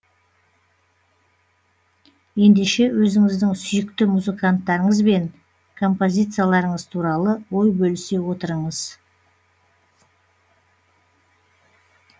ендеше өзіңіздің сүйікті музыканттарыңыз бен композицияларыңыз туралы ой бөлісе отырыңыз